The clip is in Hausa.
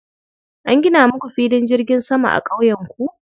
An gina muku filin jirgin sama a ƙauyenku?